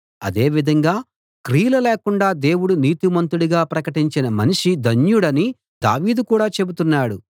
అదే విధంగా క్రియలు లేకుండా దేవుడు నీతిమంతుడుగా ప్రకటించిన మనిషి ధన్యుడని దావీదు కూడా చెబుతున్నాడు